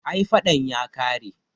ai fadan ya kare